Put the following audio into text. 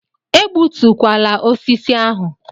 Egbutukwala osisi ahụ!